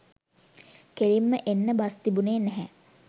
කෙළින්ම එන්න බස් තිබුණේ නැහැ